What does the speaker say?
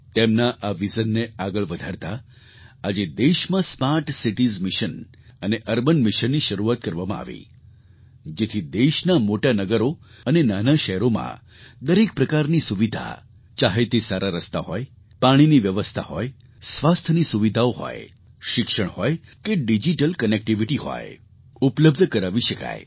તેમના આ વિઝનને આગળ વધારતા આજે દેશમાં સ્માર્ટ સિટીઝ મિશન અને અર્બન મિશનની શરૂઆત કરવામાં આવી જેથી દેશના મોટાં નગરો અને નાનાં શહેરોમાં દરેક પ્રકારની સુવિધા ચાહે તે સારા રસ્તા હોય પાણીની વ્યવસ્થા હોય સ્વાસ્થ્યની સુવિધાઓ હોય શિક્ષણ હોય કે ડિજિટલ કનેક્ટિવિટી હોય ઉપલબ્ધ કરાવી શકાય